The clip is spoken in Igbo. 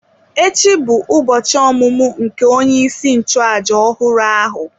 Echi bụ ụbọchị ọmụmụ nke onye isi nchụàjà ọhụrụ ahụ.